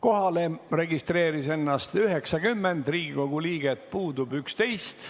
Kohalolijaks registreeris ennast 90 Riigikogu liiget, puudub 11.